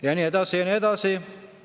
Ja nii edasi ja nii edasi.